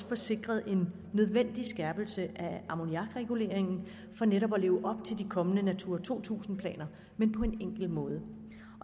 få sikret en nødvendig skærpelse af ammoniakreguleringen for netop at leve op til de kommende natura to tusind planer men på en enkel måde